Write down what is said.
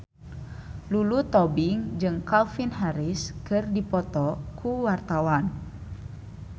Lulu Tobing jeung Calvin Harris keur dipoto ku wartawan